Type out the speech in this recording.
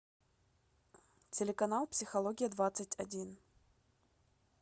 телеканал психология двадцать один